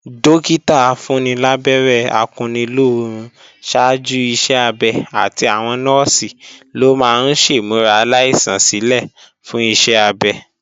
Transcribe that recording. Dọ́kítà afúnnilábẹ́rẹ́ akunnilóorun ṣáájú iṣẹ́-abẹ àti àwọn Nọ́ọ̀sì ló máa ń ṣèmúra aláìsàn sílè fún iṣẹ́ abẹ